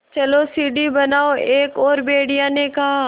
चलो सीढ़ी बनाओ एक और भेड़िए ने कहा